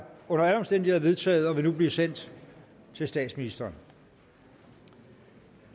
under alle omstændigheder vedtaget og vil nu blive sendt til statsministeren